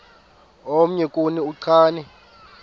omnye kuni uchane